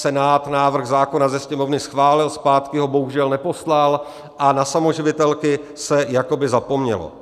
Senát návrh zákona ze Sněmovny schválil, zpátky ho bohužel neposlal, a na samoživitelky se jakoby zapomnělo.